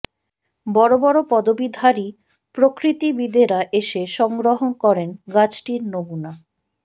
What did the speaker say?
বড় বড় পদবিধারী প্রকৃতিবিদেরা এসে সংগ্রহ করেন গাছটির নমুনা